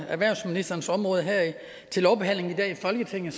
erhvervsministerens område her i folketinget